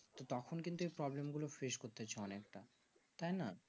তো তখন কিন্তু এই problem গুলো ফ্রেস করতেছে অনেক তা তাই না